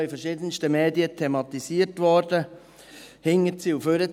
Es wurde auch in verschiedensten Medien thematisiert, vor- und rückwärts.